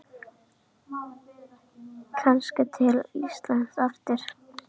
Kannski til Íslands aftur?